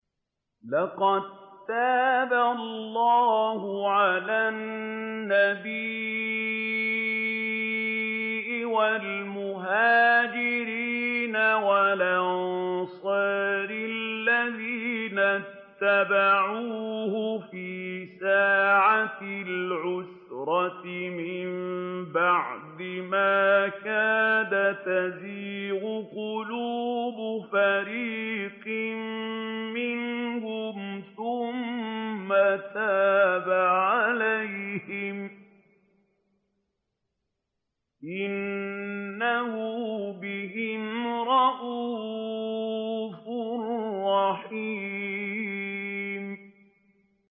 لَّقَد تَّابَ اللَّهُ عَلَى النَّبِيِّ وَالْمُهَاجِرِينَ وَالْأَنصَارِ الَّذِينَ اتَّبَعُوهُ فِي سَاعَةِ الْعُسْرَةِ مِن بَعْدِ مَا كَادَ يَزِيغُ قُلُوبُ فَرِيقٍ مِّنْهُمْ ثُمَّ تَابَ عَلَيْهِمْ ۚ إِنَّهُ بِهِمْ رَءُوفٌ رَّحِيمٌ